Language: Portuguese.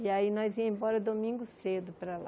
E aí nós ia embora domingo cedo para lá.